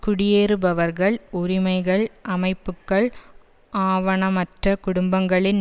குடியேறுபவர்கள் உரிமைகள் அமைப்புக்கள் ஆவணமற்ற குடும்பங்களின்